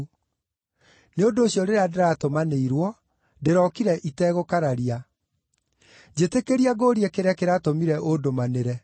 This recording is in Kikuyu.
Nĩ ũndũ ũcio rĩrĩa ndĩratũmanĩirwo, ndĩrokire itegũkararia. Njĩtĩkĩria ngũũrie kĩrĩa kĩratũmire ũndũmanĩre?”